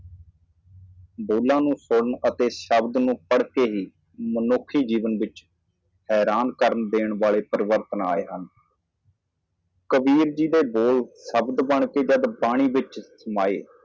ਦੋਨਾਂ ਨੂੰ ਸੁਣਨਾ ਅਤੇ ਸ਼ਬਦ ਪੜ੍ਹਨਾ ਮਨੁੱਖੀ ਜੀਵਨ ਵਿੱਚ ਹੈਰਾਨ ਕਰਨ ਵਾਲੀ ਤਬਦੀਲੀ ਏ ਕਬੀਰ ਜੀ ਦੀ ਬਾਣੀ ਜਦੋਂ ਸ਼ਬਦ ਸ਼ਬਦ ਬਣਦੇ ਹਨ ਤਾਂ ਸ਼ਬਦਾਂ ਵਿਚ ਬਦਲ ਜਾਂਦੇ ਹਨ।